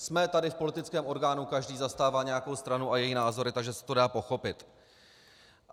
Jsme tady v politickém orgánu, každý zastává nějakou stranu a její názory, takže se to dá pochopit.